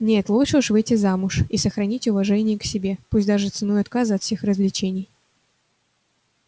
нет лучше уж выйти замуж и сохранить уважение к себе пусть даже ценой отказа от всех развлечений